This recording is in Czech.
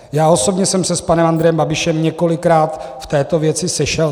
Já osobně jsem se s panem Andrejem Babišem několikrát v této věci sešel.